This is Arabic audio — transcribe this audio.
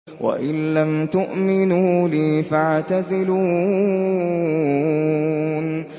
وَإِن لَّمْ تُؤْمِنُوا لِي فَاعْتَزِلُونِ